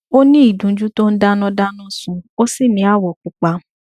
ó ní ìdunjú tó ń dáná dáná sun ó sì ní awọ pupa